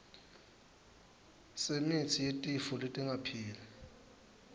semitsi yetifo letingapheli